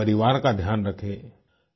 अपने परिवार का ध्यान रखें